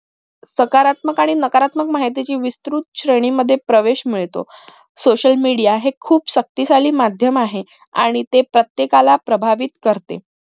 सकारात्मक आणि नकारात्मक माहितीची विसृत श्रेणी मध्ये प्रवेश मिळतो social media हे खूप शक्तिशाली माध्यम आहे आणि ते प्रत्येकाला प्रभावित करते